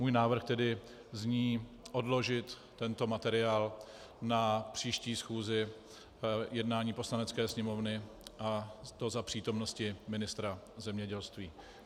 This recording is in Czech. Můj návrh tedy zní: Odložit tento materiál na příští schůzi jednání Poslanecké sněmovny, a to za přítomnosti ministra zemědělství.